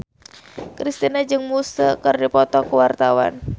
Kristina jeung Muse keur dipoto ku wartawan